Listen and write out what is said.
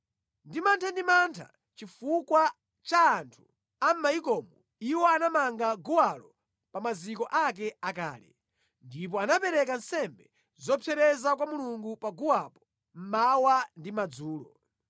Ndi mantha ndi mantha chifukwa cha anthu a mʼmayikomo, iwo anamanga guwalo pa maziko ake akale, ndipo anapereka nsembe zopsereza kwa Mulungu pa guwapo mmawa ndi madzulo.